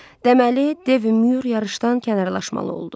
Deməli, Dev Myur yarışdan kənarlaşmalı oldu.